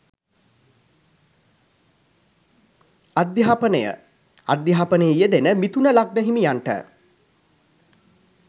අධ්‍යාපනය අධ්‍යාපනයෙහි යෙදෙන මිථුන ලග්න හිමියන්ට